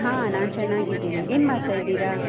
ಹಾ ನಾನ್ ಚನ್ನಾಗಿದ್ದೇನೆ, ಏನ್ ಮಾಡ್ತಾ ಇದ್ದೀರಾ?